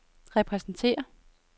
repræsenterer